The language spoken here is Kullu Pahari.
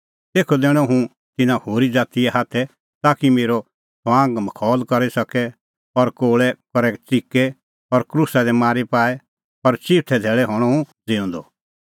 तेखअ दैणअ हुंह तिन्नां होरी ज़ातीए हाथै ताकि मेरअ ठठअमखौल करी सके और कोल़ै करै च़िके और क्रूसा दी मारी पाऐ पर चिऊथै धैल़ै हणअ हुंह ज़िऊंदअ